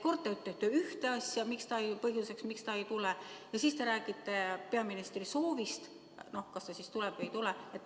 Kord te ütlete ühte asja põhjuseks, miks ta ei tule, ja siis te räägite peaministri soovist, kas ta tuleb või ei tule.